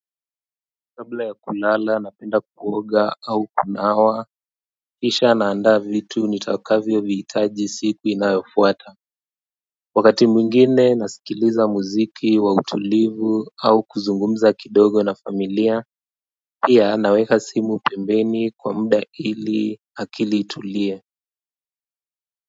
Kabla ya kulala napenda kuoga au kunawa kisha naanda vitu nitakavyo vihitaji siku inayofuata wakati mwingine nasikiliza muziki wa utulivu au kuzungumza kidogo na familia pia naweka simu pembeni kwa muda ili akili itulie.